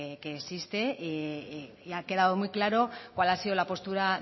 que existe y ha quedado muy claro cuál ha sido la postura